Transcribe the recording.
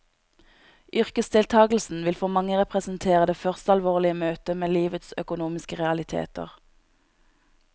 Yrkesdeltagelsen vil for mange representere det første alvorlige møtet med livets økonomiske realiteter.